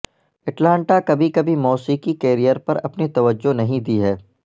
Atlanta کبھی کبھی موسیقی کیریئر پر اپنی توجہ نہیں دی ہے